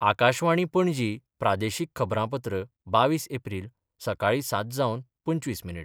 आकाशवाणी, पणजी प्रादेशीक खबरांपत्र बावीस एप्रील, सकाळीं सात जावन पंचवीस मिनीट